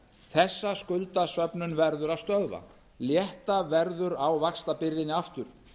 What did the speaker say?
þessa skuldasöfnun verður að stöðva létta verður á vaxtabyrðinni aftur